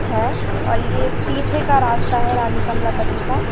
है और यह पीछे का रास्ता है रानी कमलापति का।